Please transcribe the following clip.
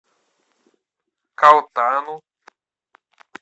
калтану